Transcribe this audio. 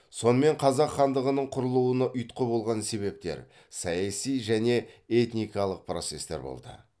сонымен қазақ хандығының құрылуына ұйтқы болған себептер саяси және этникалық процестер болды